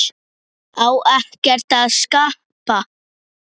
Á ekkert að skapa?